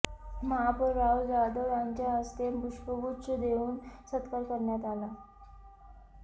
महापौर राहुल जाधव यांच्याहस्ते पुष्पगुच्छ देऊन सत्कार करण्यात आला